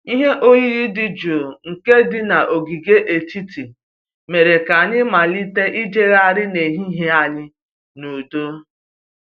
Ihe oyiyi dị jụụ nke dị n'ogige etiti mere ka anyị malite ịjegharị n'ehihie anyị n'udo